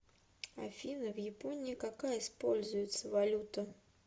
афина в японии какая используется валюта